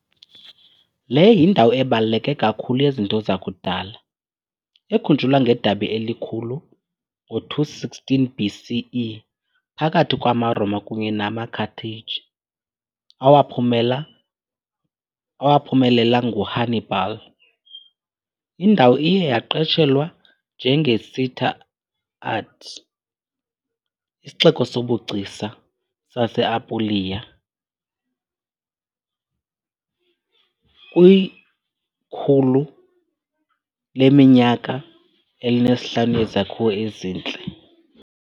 Le yindawo ebaluleke kakhulu yezinto zakudala, ekhunjulwa ngedabi elikhulu ngo-216 BCE phakathi kwamaRoma kunye namaCarthage, awaphumelela nguHannibal. Indawo iye yaqatshelwa njenge-Città d'Arte, "isixeko sobugcisa", sase- Apulia kwi-105 yezakhiwo ezintle.